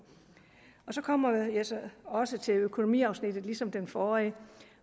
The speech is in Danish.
så kommer jeg så også til økonomiafsnittet ligesom den forrige